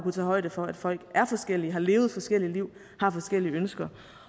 tage højde for at folk er forskellige har levet forskellige liv og har forskellige ønsker